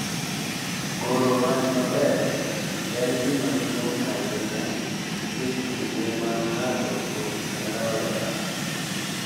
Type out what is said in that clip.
Goro wach maber en gima duong’ ahinya e kinde ma ng’ato pod en rawera,